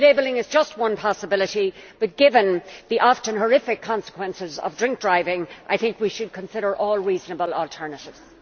Labelling is just one possibility but, given the often horrific consequences of drink driving, I think we should consider all reasonable alternatives.